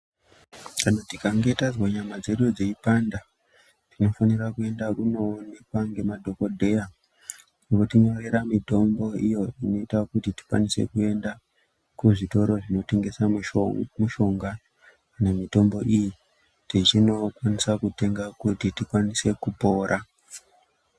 Kana tikange tazwa nyama dzedu dziyipanda ,tinofanira kuenda kunowonekwa ngemadhogodheya. Oti nyorera mitombo iyo inoita kuti tikwanise kuenda kuzvitoro zvinotengesa mushonga nemitombo iyi, tichinokwanisa kutenga kuti tikwanise kupora.